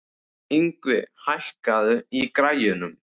Yngvi, hækkaðu í græjunum.